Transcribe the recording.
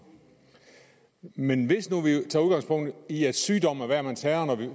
men hvis nu vi tager udgangspunkt i at sygdom er hver mands herre og